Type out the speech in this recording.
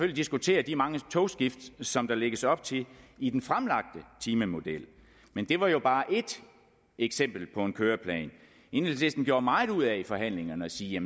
diskutere de mange togskift som der lægges op til i den fremlagte timemodel men det var jo bare ét eksempel på en køreplan enhedslisten gjorde meget ud af i forhandlingerne at sige